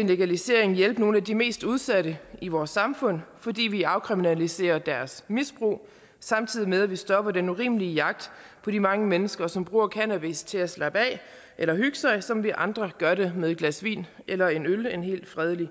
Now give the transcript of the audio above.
en legalisering hjælpe nogle af de mest udsatte i vores samfund fordi vi afkriminaliserede deres misbrug samtidig med at vi stoppede den urimelige jagt på de mange mennesker som bruger cannabis til at slappe af eller hygge sig som vi andre gør det med et glas vin eller en øl en helt fredelig